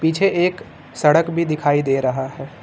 पीछे एक सड़क भी दिखाई दे रहा है।